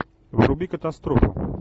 вруби катастрофу